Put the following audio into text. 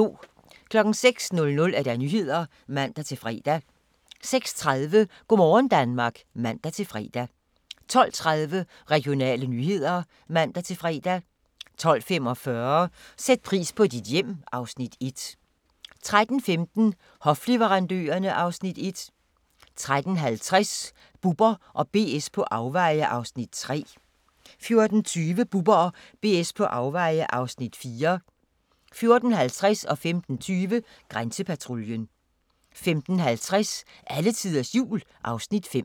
06:00: Nyhederne (man-fre) 06:30: Go' morgen Danmark (man-fre) 12:30: Regionale nyheder (man-fre) 12:45: Sæt pris på dit hjem (Afs. 1) 13:15: Hofleverandørerne (Afs. 1) 13:50: Bubber & BS på afveje (Afs. 3) 14:20: Bubber & BS på afveje (Afs. 4) 14:50: Grænsepatruljen 15:20: Grænsepatruljen 15:50: Alletiders Jul (Afs. 5)